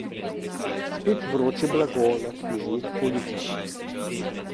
Spet vroče blago na knjižnih policah.